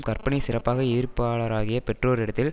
கற்பனை சிறப்பாக எதிர்பாலராகிய பெற்றோரிடத்தில்